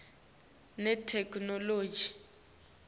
netheknoloji